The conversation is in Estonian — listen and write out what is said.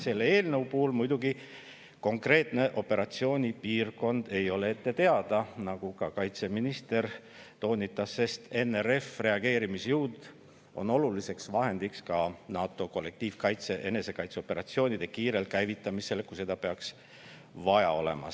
Selle eelnõu puhul ei ole muidugi konkreetne operatsioonipiirkond ette teada, nagu ka kaitseminister toonitas, sest NRF-i reageerimisjõud on oluliseks vahendiks NATO kollektiivkaitse-, enesekaitseoperatsioonide kiirel käivitamisel, kui seda peaks vaja olema.